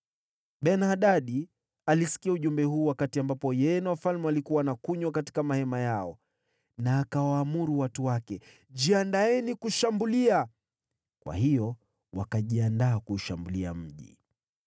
Ben-Hadadi alisikia ujumbe huu wakati ambapo yeye na wafalme walikuwa wanakunywa katika mahema yao, na akawaamuru watu wake, “Jiandaeni kushambulia.” Kwa hiyo wakajiandaa kuushambulia mji.